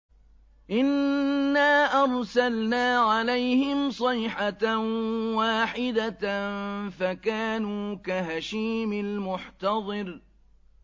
إِنَّا أَرْسَلْنَا عَلَيْهِمْ صَيْحَةً وَاحِدَةً فَكَانُوا كَهَشِيمِ الْمُحْتَظِرِ